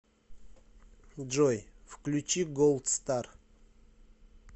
джой включи голд стар